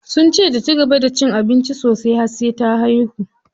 Sunce ta cigaba da cin abinci sosai har sai ta haihu.